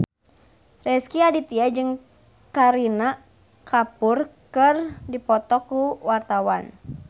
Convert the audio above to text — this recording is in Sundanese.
Rezky Aditya jeung Kareena Kapoor keur dipoto ku wartawan